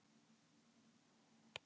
Hurð skall þar nærri hælum.